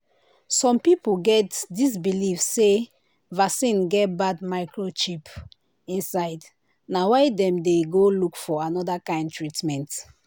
some people get this believe say vaccine get bad microchip inside na why dem dey go look for another kind treatment.